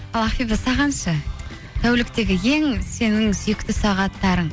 ал ақбибі саған ше тәуліктегі ең сенің сүйікті сағаттарың